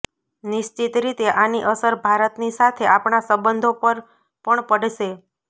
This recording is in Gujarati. નિશ્ચિત રીતે આની અસર ભારતની સાથે આપણા સંબંધો પર પણ પડશે